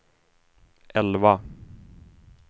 elva